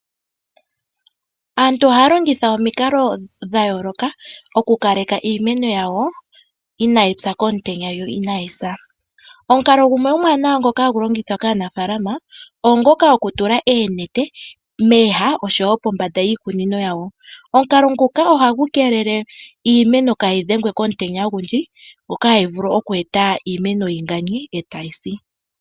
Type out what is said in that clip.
Aantu sho yatonata noya nongonona oyamono kutya iimeno yawo ohayi dhengwa unene komutenya. Oya tameke okukonga uunete opo yagamene iimeno yawo komutenya Oya tula onete pombanda nosho woo mooha adhihe dhoshikunino. Omukalo nguka ohagu game iimeno kayi se yoyiganye komutenya nosho woo kayi yonagulwe po kiimuna.